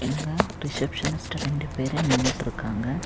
இங்க ரிசப்ஷனிஸ்ட் ரெண்டு பேரு நின்னுட்ருக்காங்க.